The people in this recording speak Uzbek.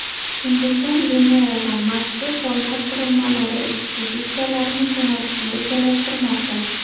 Hindiston Venera va Marsga koinot qurilmalari ekspeditsiyalarini jo‘natishni rejalashtirmoqda.